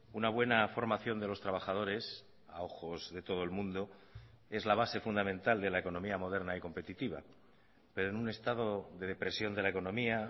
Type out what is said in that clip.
una buena formación de los trabajadores a ojos de todo el mundo es la base fundamental de la economía moderna y competitiva pero en un estado de depresión de la economía